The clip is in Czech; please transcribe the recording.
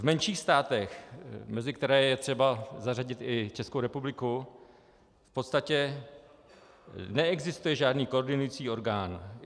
V menších státech, mezi které je třeba zařadit i Českou republiku, v podstatě neexistuje žádný koordinující orgán.